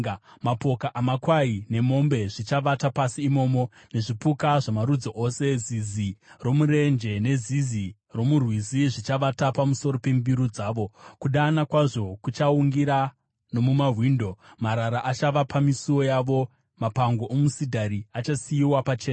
Mapoka amakwai nemombe zvichavata pasi imomo, nezvipuka zvamarudzi ose. Zizi romurenje nezizi romurwizi zvichavata pamusoro pembiru dzavo. Kudana kwazvo kuchaungira nomumawindo, marara achava pamisuo yavo, mapango omusidhari achasiyiwa pachena.